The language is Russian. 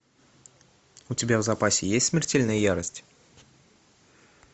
у тебя в запасе есть смертельная ярость